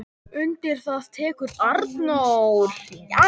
Undir það tekur Arnór.